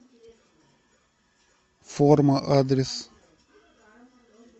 форма адрес